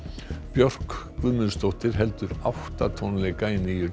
Björk Guðmundsdóttir heldur átta tónleika í nýju